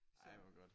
Ej hvor godt